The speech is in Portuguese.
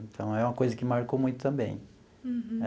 Então, é uma coisa que me marcou muito também. Uhum.